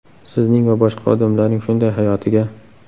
Sizning va boshqa odamlarning shunday hayotiga.